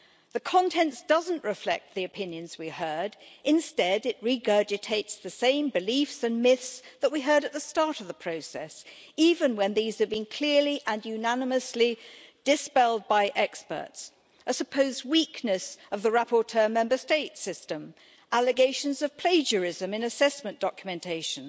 The content doesn't reflect the opinions we heard, instead it regurgitates the same beliefs and myths that we heard at the start of the process, even when these have been clearly and unanimously dispelled by experts a supposed weakness of the rapporteur Member State system, allegations of plagiarism in assessment documentation,